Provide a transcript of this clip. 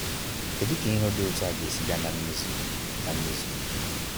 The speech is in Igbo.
Kedu ka ihe di otu a ga esi bia na mmezu? na mmezu?